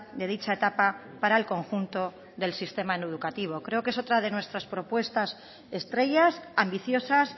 de dicha etapa para el conjunto del sistema educativo creo que es otra de nuestras propuestas estrellas ambiciosas